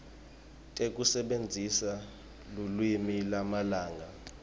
tekusebentisa lulwimi lwamalanga